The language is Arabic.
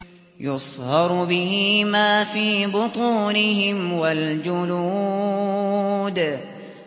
يُصْهَرُ بِهِ مَا فِي بُطُونِهِمْ وَالْجُلُودُ